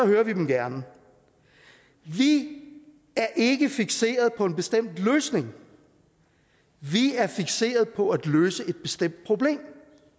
hører vi dem gerne vi er ikke fikseret på en bestemt løsning vi er fikseret på at løse et bestemt problem